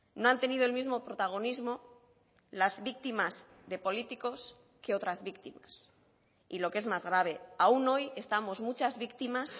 no han tenido el mismo protagonismo las víctimas de políticos que otras víctimas y lo que es más grave aún hoy estamos muchas víctimas